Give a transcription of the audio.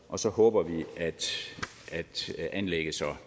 og så håber vi at anlægget så